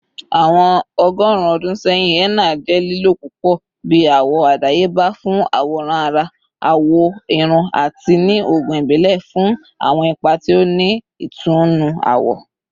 Awọn ọgọrun ọdun sẹyin, henna jẹ lilo pupọ bi awọ adayeba fun aworan ara, awọ irun, ati ni oogun ibile fun awọn ipa ti o ni itunnu awọ.